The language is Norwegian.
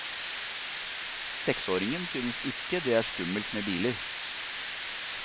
Seksåringen synes ikke det er skummelt med biler.